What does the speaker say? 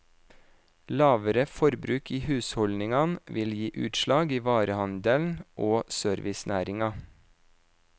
Lavere forbruk i husholdningene vil gi utslag i varehandelen og servicenæringen.